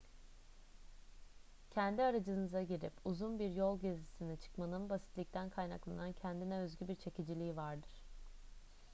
kendi aracınıza girip uzun bir yol gezisine çıkmanın basitlikten kaynaklanan kendine özgü bir çekiciliği vardır